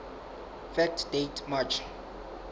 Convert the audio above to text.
fact date march